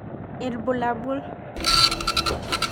Ibulabul.